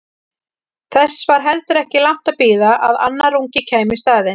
Þess var heldur ekki langt að bíða að annar ungi kæmi í staðinn.